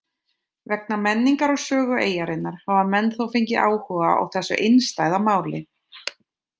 Vegna menningar og sögu eyjarinnar hafa menn þó fengið áhuga á þessu einstæða máli.